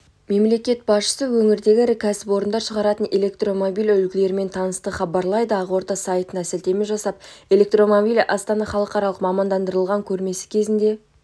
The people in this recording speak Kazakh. мемлекет басшысы өңірдегі ірі кәсіпорындар шығаратын электромобиль үлгілерімен танысты хабарлайды ақорда сайтына сілтеме жасап электромобиль астана халықаралық мамандандырылған көрмесі кезінде